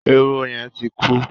Eroho yẹn ti ń kú.